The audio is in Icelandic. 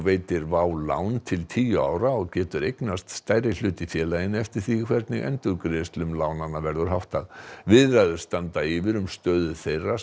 veitir WOW lán til tíu ára og getur eignast stærri hlut í félaginu eftir því hvernig endurgreiðslum lánanna verður háttað viðræður standa nú yfir um stöðu þeirra